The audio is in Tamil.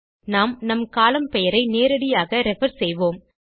நாம் நம் கோலம்ன் பெயரை நேரடியாக ரெஃபர் செய்வோம்